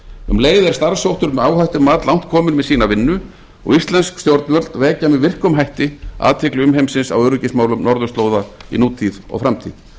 um leið er starfshópur um áhættumat langt kominn með sína vinnu og íslensk stjórnvöld vekja með virkum hætti athygli umheimsins á öryggismálum norðurslóða í nútíð og framtíð